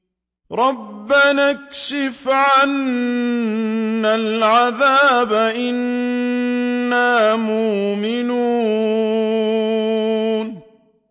رَّبَّنَا اكْشِفْ عَنَّا الْعَذَابَ إِنَّا مُؤْمِنُونَ